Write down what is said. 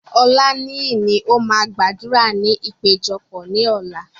Olaniyi ni ó máa gbàdúrà ní ìpéjọpọ̀ ní ọ̀la.